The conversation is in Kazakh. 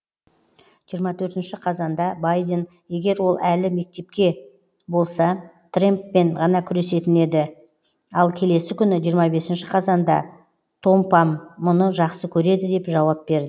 жиырма төртінші қазанда байден егер ол әлі мектепке болса трэмппен ғана күресетін еді ал келесі күні жиырма бесінші қазанда томпам мұны жақсы көреді деп жауап бер